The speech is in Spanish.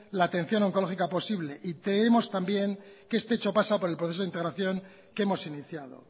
la atención oncológica posible y queremos también que este hecho pasa por el proceso de integración que hemos iniciado